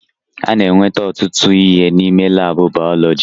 A na-enweta ọtụtụ ihe n'ime laabụ bayọlọji.